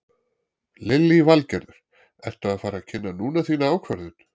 Lillý Valgerður: Ertu að fara að kynna núna þína ákvörðun?